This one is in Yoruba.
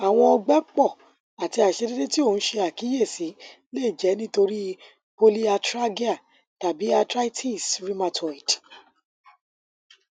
awọn ọgbẹpọ ati aiṣedede ti o n ṣe akiyesi le jẹ nitori polyarthralgia tabi arthritis rheumatoid